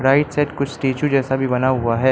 Right side कुछ statue जैसा भी बना हुआ है।